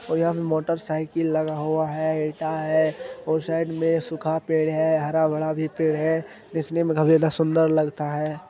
और यहाँ पे मोटर साइकल लगा हुआ है ईटा है और साइड मे सुखा पेड़ है हरा भरा भी पेड़ है दिखने मे सुंदर लगता है।